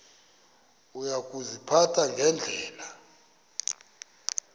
uya kuziphatha ngendlela